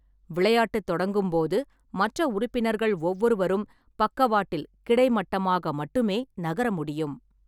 விளையாட்டு தொடங்கும் போது, மற்ற உறுப்பினர்கள் ஒவ்வொருவரும் பக்கவாட்டில் கிடைமட்டமாக மட்டுமே நகர முடியும்.